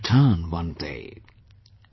Shall return one day,